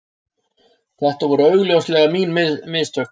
Þetta voru augljóslega mín mistök